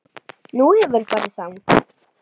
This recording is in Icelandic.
Nú, hefurðu farið þangað?